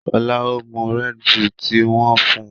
Shola o mú Red Bull tí wón fún.